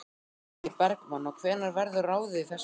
Logi Bergmann: Og hvenær verður ráðið í þessar stöður?